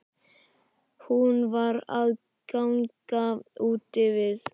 Hún var að ganga úti við.